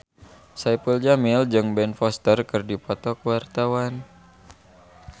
Saipul Jamil jeung Ben Foster keur dipoto ku wartawan